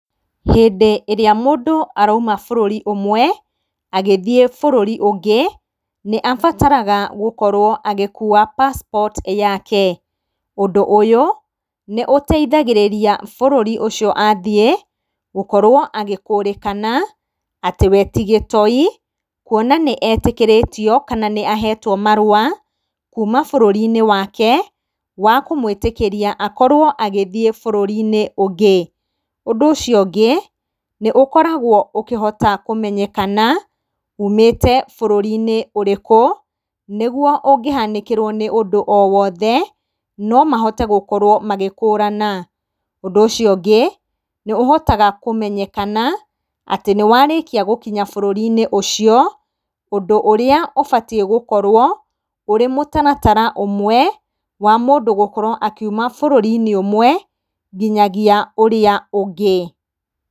Hĩndĩ ĩrĩa mũndũ arauma bũrũri ũmwe, agĩthiĩ bũrũri ũngĩ, nĩ abataraga gũkorwo agĩkuwa passport yake. Ũndũ ũyũ, nĩ ũteithagĩrĩria bũrũri ũcio athiĩ, gũkorwo agĩkũrĩkana, atĩ we tigĩtoi, kwona nĩ etĩkĩritio kana nĩ ahetwo marũa kuuma bũrũri-inĩ wake, wa kũmwĩtĩkĩria akorwo agĩthiĩ bũrũri ũngĩ. Ũndũ ũcio ũngĩ, nĩ ũkoragwo ũkĩhota kũmenyekana, ũmĩte bũrũri-inĩ ũrĩkũ, nĩguo ũngĩhanĩkĩrwo nĩ ũndũ o wothe, nomahote gũkorwo magĩkũrana. Ũndũ ũcio ũngĩ, nĩ ũhotaga kũmenyekana, atĩ nĩ warĩkia gũkĩnya bũrũri ũcio, ũndũ ũrĩa ũbatĩi gũkorwo, ũrĩmũtaratara ũmwe, wa mũndũ gũkorwo akiuma bũrũri ũmwe, nginya ũrĩa ũngĩ.